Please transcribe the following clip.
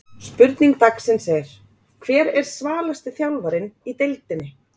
Spurning dagsins er: Hver er svalasti þjálfarinn í deildinni?